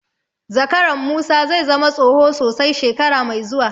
Zakaran Musa zai zama tsoho sosai shekara mai zuwa.